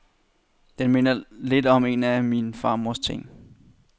Den minder lidt om en af min farmors ting.